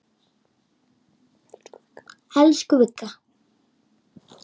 Elsku Vigga.